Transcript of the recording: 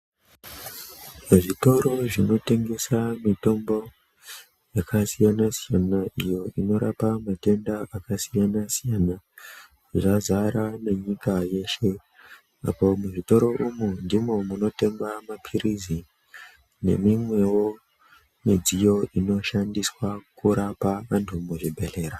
Zvitoro zvinotengesa mitombo ,yakasiyana-siyana iyo inorapa matenda akasiyana-siyana, zvazara nenyika yeshe. Apa muzvitoro umwu ndimwo munotengwa maphirizi, nemimwewo midziyo inoshandiswa kurapa antu muzvibhedhlera.